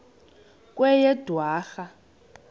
kweyedwarha